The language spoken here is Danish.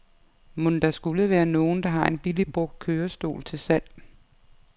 Mon der skule være nogen, der har en billig brugt kørestol til salg.